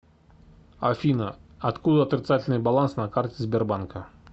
афина откуда отрицательный баланс на карте сбербанка